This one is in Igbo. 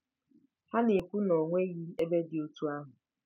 Ha na-ekwu na o nweghị ebe dị otú ahụ.